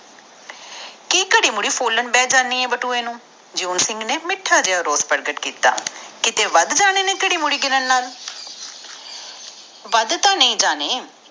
ਘੜੀ ਮੁੜੀ ਫੁਲਣ ਬਹਿ ਜਾਣੀ ਆ ਬਟੂਏ ਨੂੰ ਜੇਓੰ ਸਿੰਘ ਨੇ ਮਿਠਾ ਜੇਹਾ ਰੋਸ ਪ੍ਰਗਟ ਕੀਤਾ ਕੀਤੇ ਵੱਧ ਜਾਣੇ ਆ ਘੜੀ ਮੁੜੀ ਗਿਣਨ ਨਾਲ।